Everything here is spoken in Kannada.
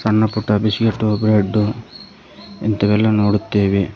ಸಣ್ಣ ಪುಟ್ಟ ಬಿಸ್ಕೆಟ್ಟು ಬ್ರೆಡ್ಡು ಇಂತವೆಲ್ಲಾ ನೋಡುತ್ತೇವೆ.